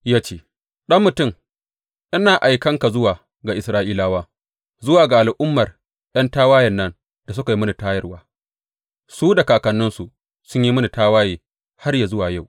Ya ce, Ɗan mutum, ina aikan ka zuwa ga Isra’ilawa, zuwa ga al’ummar ’yan tawayen nan da suka yi mini tayarwa; su da kakanninsu sun yi mini tawaye har yă zuwa yau.